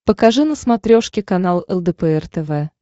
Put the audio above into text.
покажи на смотрешке канал лдпр тв